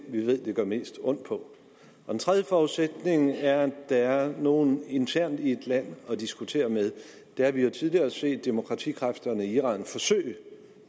vi ved det gør mest ondt på og den tredje forudsætning er at der er nogle internt i et land at diskutere med der har vi jo tidligere set demokratikræfterne i iran forsøge